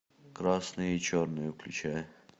красное и черное включай